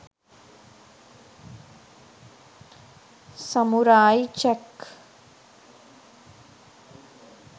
samurai jack